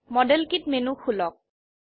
model kit menu খুলক